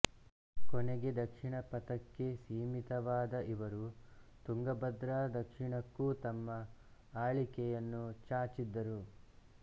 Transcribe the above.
ಕೊನೆಗೆ ದಕ್ಷಿಣ ಪಥಕ್ಕೆ ಸೀಮಿತವಾದ ಇವರು ತುಂಗಭದ್ರಾ ದಕ್ಷಿಣಕ್ಕೂ ತಮ್ಮ ಆಳಿಕೆಯನ್ನು ಚಾಚಿದ್ದರು